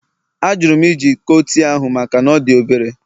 Ajụrụ m iji iko tii ahụ maka na ọ dị obere